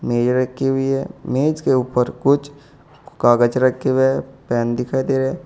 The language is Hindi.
मेज रखी हुई है मेज के ऊपर कुछ कागज रखे हुए हैं पेन दिखाई दे रहा है।